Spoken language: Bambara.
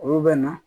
Olu bɛ na